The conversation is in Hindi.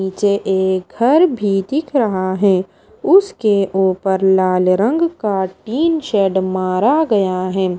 नीचे एक घर भी दिख रहा है उसके ऊपर लाल रंग का टीन शेड मारा गया है।